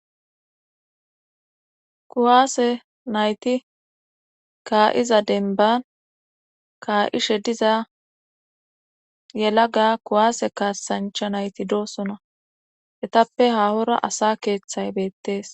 kuwaase nayti kaa7iza denban kaa7ishe diza yelaga kuwaase kaasancha nayti doosona etappe hahora asa keeththay beettees